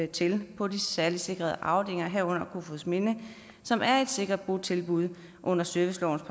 til på de særligt sikrede afdelinger herunder kofoedsminde som er et sikkert botilbud under servicelovens